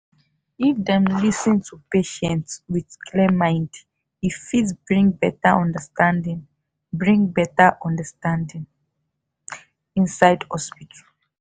if dem lis ten to patients with clear mind e fit bring better understanding bring better understanding inside hospital.